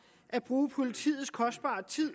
at bruge politiets kostbare tid